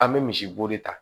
An bɛ misibo de ta